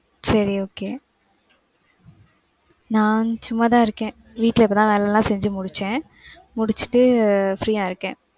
சரி, okay நான் சும்மாதான் இருக்கேன். வீட்டுல இப்பதான் வேலையெல்லாம் செஞ்சு முடிச்சேன். முடிச்சுட்டு, free யா இருக்கேன்.